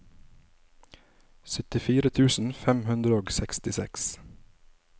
syttifire tusen fem hundre og sekstiseks